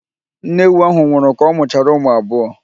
Nne ewu ahụ nwụrụ ka ọ mụchara ụmụ abụọ.